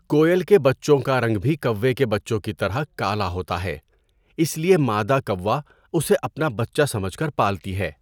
کوئل کےبچوں کا رنگ بھی کوّے کے بچوں کی طرح کالا ہوتا ہے اس لیے مادہ کوّااسے اپنا بچہ سمجھ کر پالتی ہے۔